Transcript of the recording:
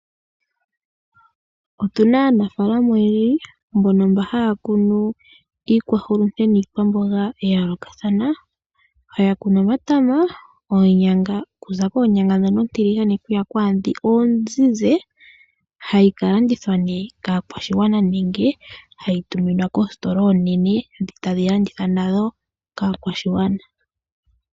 Otuna aanafaalama oyendji mbono mba haya kunu iihulunde niikwaamboga yayoolokathana. Ohaya kunu omatama, oonyanga okuza koonyanga ndhono oontiligane okuya kwaandhono oonzizi hadhi kalandithwa ne kaakwashigwana nenge dhi tuminwe koositola ndhi oonene etadhi landithwa nadho kaakwashigwana.